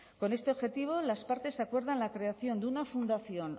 con este objetivo las partes acuerdan la creación de una fundación